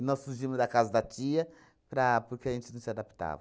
E nós fugimos da casa da tia para porque a gente não se adaptava.